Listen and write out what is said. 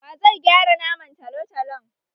Wa zai gyara naman talotalon?